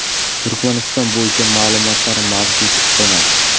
Turkmaniston bo‘yicha ma’lumotlar mavjud emas.